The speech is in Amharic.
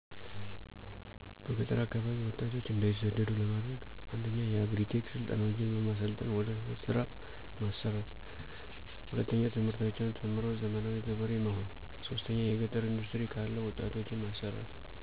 በገጠር አካባቢ ወጣቶች እንዳይሳደዱ ለማድረግ። 1. የአግሪ-ቴክ ስልጠናዎችን በማሰልጠን ወደ ወደ ስራ ማሰማራት። 2. ትምህርታቸውን ተምረው ዘመናዊ ገበሬ መሆን። 3. የገጠር ኢንዱስትሪ ካለ ወጣቶችን ማሠራት።